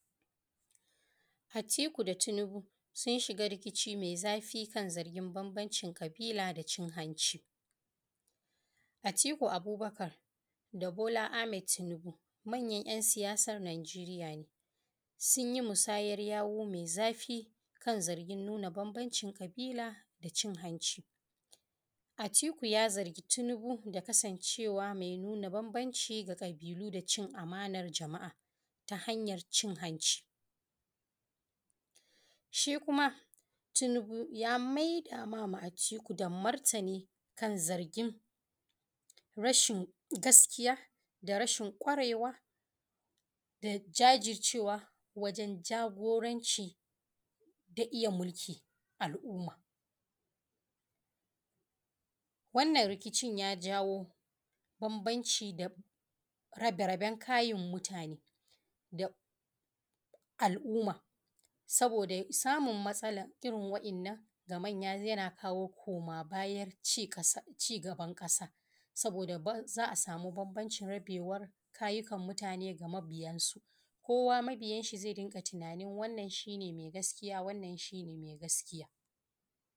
Atiku da Tinubu sun shiga rikici mai zafi, kan zargin banbancin ƙabila da cin hanshi. Atiku Abubakar da Bola Ahmed Tinubu, manyan jan siyasar Najeriya ne. Sunyi musayar yawu mai zafi, kan zargin nuna banbancin kabila da cin hanci. Atiku ya zargi Tinubu da kasan cewa mai nuna banbanci, ga ƙabilu da cin amanar jama’a, ta hanyar cin hanci. Shi kuma Tinubu ya mai dama ma atiku, da martani kan zargin rashin gaskiya. Da rashin ƙwarewa, da jajircewa, wajan jagoranci. da iya mulki al-umma. Wannan rikicin ya jawo banbanci dab rabe-raben kayin mutane, da al-umma. Saboda samun matsalar irin wa in nan, ga manya yana kawo koma bayan cin ƙasa cigaban ƙasa. Saboda za’a samu banbancin, rabewar kayukan mutane ga mabiyan su. Kowa mabiyan sa zai dunga tunanin wannan shine mai gaskiya wannan shine mai gaskiya.